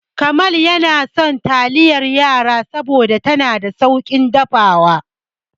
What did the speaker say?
Jamal yana son taliyar yara saboda tana da sauƙin dafawa.